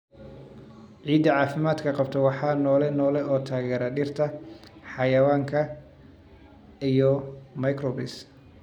Ciidda caafimaadka qabta waa noole noole oo taageera dhirta, xayawaanka, iyo microbes.